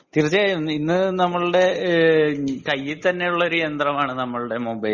തീർച്ചയായും ഇന്ന് നമ്മുടെ കയ്യിൽ തന്നെയുള്ള ഒരു യന്ത്രമാണ് നമ്മുടെ മൊബൈൽ ഫോൺ